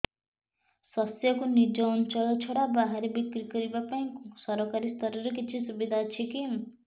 ଶସ୍ୟକୁ ନିଜ ଅଞ୍ଚଳ ଛଡା ବାହାରେ ବିକ୍ରି କରିବା ପାଇଁ ସରକାରୀ ସ୍ତରରେ କିଛି ସୁବିଧା ଅଛି କି